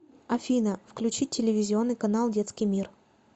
афина включить телевизионный канал детский мир